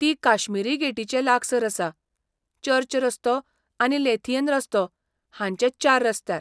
ती काश्मिरी गेटीचे लागसार आसा, चर्च रस्तो आनी लोथियन रस्तो हांचे चार रस्त्यार.